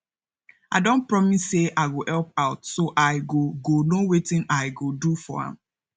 i don promise say i go help out so i go go know wetin i go do for am